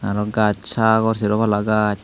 aro gaj sagor seropala gaj.